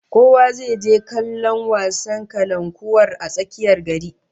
Kowa zai je kallon wasan kalankuwar a tsakiyar gari